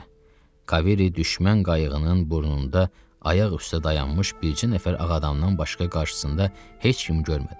Kavery düşmən qayığının burnunda ayaq üstə dayanmış bircə nəfər ağadamdan başqa qarşısında heç kim görmədi.